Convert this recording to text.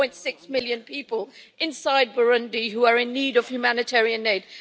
3.6 million people inside Burundi who are in need of humanitarian aid?